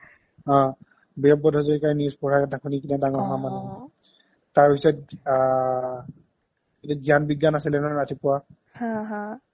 অ ব্যাসবোধ হাজৰিকা news পঢ়া দাকনি কিনা ডাঙৰ হোৱা মানুহ তাৰপিছ্ত অ অ জ্ঞান-বিজ্ঞান আছিলে ন ৰাতিপুৱা